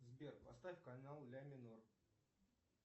сбер поставь канал ля минор